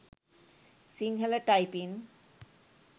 sinhala typing